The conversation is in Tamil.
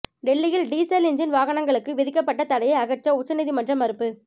டெல்லியில் டீசல் இஞ்ஜின் வாகனங்களுக்கு விதிக்கபட்ட தடையை அகற்ற உச்சநீதிமன்றம் மறுப்பு